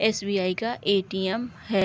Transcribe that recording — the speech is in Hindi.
एस.बी.आई. का ए.टी.एम. है |